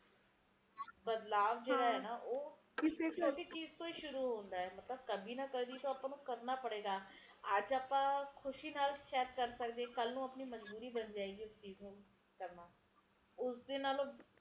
ਸਿਧੇ ਨਾ ਸਹੀ ਪਾਰ ਕਹਿ ਨਾ ਕਹਿ ਇਸਦਾ ਆਪਸ ਚ ਤਾਲੁਕ ਤਾ ਰਹਿੰਦਾ ਹੈ ਐ ਤੁਸੀ ਦੇਖੋ ਤੋਂ ਅਏ ਨਾ ਜਿੰਨੇ ਅਬਾਦੀ ਵਧੇਗੀ ਓੰਨੇ ਘਰ ਚਾਹੀਦੇ ਰਹਿਣ ਵਾਸਤੇ ਉੱਨੇ ਪੇੜ ਕੱਟਣਗੇ ਉੱਨੇ ਪੇੜ ਘਟਣਗੇ ਪੇੜ ਘਟਣਗੇ ਤੇ ਹਰਿਆਲੀ ਘਟਊਗੀ